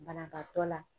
Banabaatɔ la